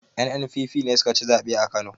NNPP ne sukaci zaɓe a kano